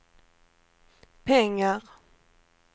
pengar